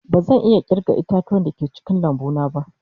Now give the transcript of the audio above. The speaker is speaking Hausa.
Bazan iya kirga ita-tuwa da ke cikin lambu na ba.